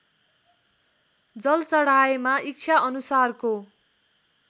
जल चढाएमा इच्छाअनुसारको